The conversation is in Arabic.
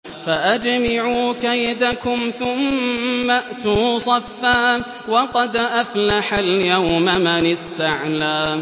فَأَجْمِعُوا كَيْدَكُمْ ثُمَّ ائْتُوا صَفًّا ۚ وَقَدْ أَفْلَحَ الْيَوْمَ مَنِ اسْتَعْلَىٰ